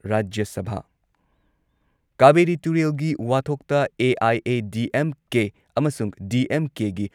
ꯔꯥꯖ꯭ꯌ ꯁꯚꯥꯥ ꯀꯥꯕꯦꯔꯤ ꯇꯨꯔꯦꯜꯒꯤ ꯋꯥꯊꯣꯛꯇ ꯑꯦ.ꯑꯥꯏ.ꯑꯦ.ꯗꯤꯑꯦꯝ.ꯀꯦ ꯑꯃꯁꯨꯡ ꯗꯤ.ꯑꯦꯝ.ꯀꯦꯒꯤ